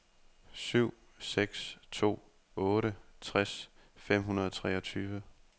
syv seks to otte tres fem hundrede og treogtyve